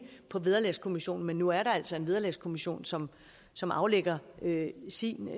på vederlagskommissionen men nu er der altså en vederlagskommission som som afgiver sin